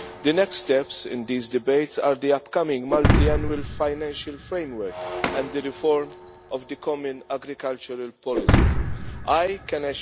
The next steps in these debates are the upcoming Multiannual Financial Framework and the reform of the Common Agricultural Policy I can